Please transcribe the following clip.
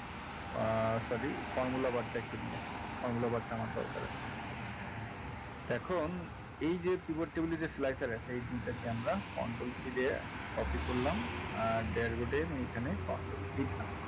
আহ sorry formula bar টা একটু নিয়ে আসি formula bar টা আমার দরকার আছে এখন এই যে pivot table এ যে slicer আছে এই দুটোকে আমরা control c দিয়ে copy করলাম আর dashboard এর এখানে control v দিলাম